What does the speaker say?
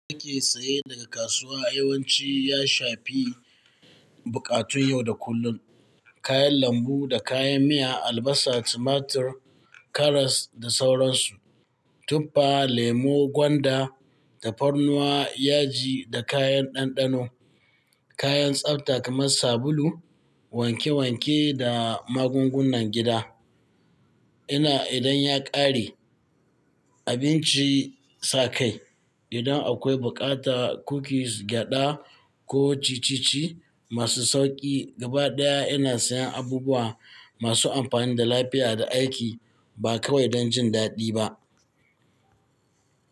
Da ake saye daga kasuwa yawanci ya shafi buƙatun yau da kullum. Kayan lambu da kayan miya, albasa, tumatur, karas da sauransu. Tuffa, lemo, gwanda da karnuwa, yaji da kayan ɗanɗano. Kayan tsafta kamar sabulu, wanke wanke da magungunan gida. Ina idan ya ƙare abinci sakai. Idan akwai buƙata, kukis, gyada ko ciccici masu sauƙi. Gabaɗaya ina sayan abubuwa masu amfani da lafiya da aiki ba kawai don jin daɗi ba.